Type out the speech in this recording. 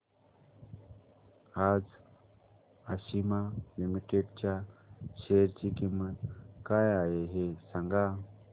आज आशिमा लिमिटेड च्या शेअर ची किंमत काय आहे हे सांगा